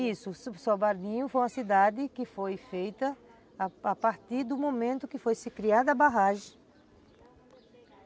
Isso, Sobradinho foi uma cidade que foi feita a partir do momento que foi criada a barragem.